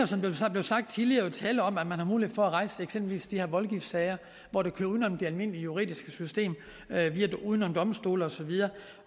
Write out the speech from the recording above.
som det blev sagt tidligere tale om at man har mulighed for at rejse eksempelvis de her voldgiftssager hvor det kører uden om det almindelige juridiske system uden om domstole osv